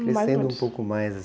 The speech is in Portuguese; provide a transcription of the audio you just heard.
Crescendo um pouco mais